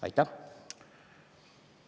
Aitäh!